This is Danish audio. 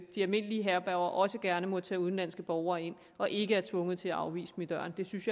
de almindelige herberger også gerne må tage udenlandske borgere ind og ikke er tvunget til at afvise dem i døren jeg synes